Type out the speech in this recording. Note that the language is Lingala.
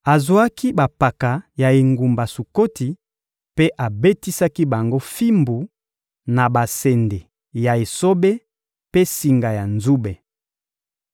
Azwaki bampaka ya engumba Sukoti mpe abetisaki bango fimbu, na basende ya esobe mpe singa ya nzube.